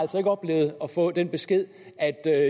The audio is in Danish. oplevet at få den besked at det er